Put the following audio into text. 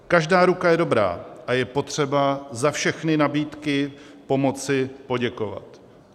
Každá ruka je dobrá a je potřeba za všechny nabídky pomoci poděkovat.